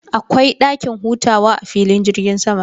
Akwai dakin hutawa a filin jirgin sama.